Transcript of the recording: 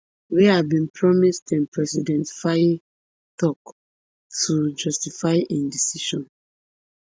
wey i bin promise dem president faye tok to justify im decision